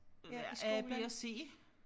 Ja i skolen